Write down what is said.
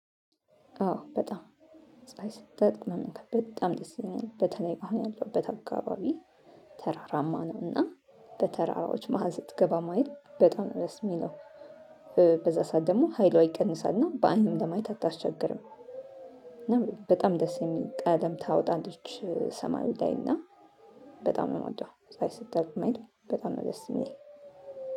አዎ በጣም ፀሀይ ስትወጣ መመልከት በጣም ደስ ይለኛል በተለይ አሁን ያለሁበት አካባቢ። ተራራማ ነው እና በተራራዎች መሃል ስትገባ ማይል በጣም ደስ የሚለው በዛ ሰዓት ደግሞ ኃይሏ ይቀንሳልና በአይንም ለማየት አታስቸግርም። በጣም ደስ የሚል ቀለም ታወጣለች ሰማይ ላይ እና በጣም ነው የምወደው። ፀሀይ ስትጠልቅ ማየት በጣም ነው ደስ የሚል